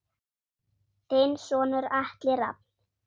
Þinn sonur Atli Rafn.